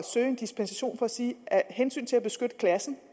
søge en dispensation og sige at af hensyn til at beskytte klassen